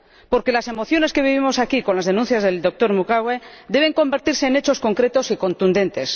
Porque las emociones que vivimos aquí con las denuncias del doctor Mukwege deben convertirse en hechos concretos y contundentes.